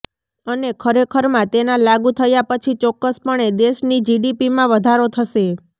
અને ખરેખરમાં તેના લાગુ થયા પછી ચોક્કસપણે દેશની જીડીપીમાં વધારો થશે